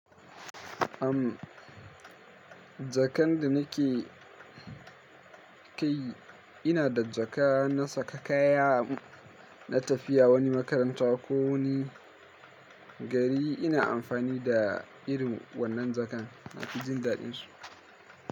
Am, jakan da nake kai ina da jaka na saka kaya na tafiya wani makaranta ko wani gari, ina amfani da irin wannan jakan. Nafi jin daɗinsu.